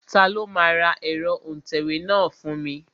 Ta ló máa ra ẹ̀rọ òǹtẹ̀wé náà fún mi?